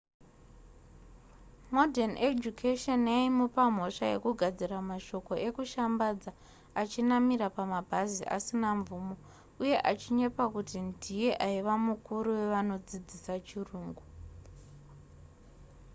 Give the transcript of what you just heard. morden education yaimupa mhosva yekugadzira mashoko ekushambadza achinamira pamabhazi asina mvumo uye achinyepa kuti ndiye aiva mukuru wevanodzidzisa chirungu